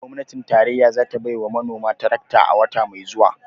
Gwamnatin tarayya za ta bai wa manoma tarakta a wata mai zuwa